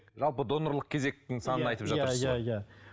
жалпы донорлық кезектің санын айтып жатырсыз ғой иә иә иә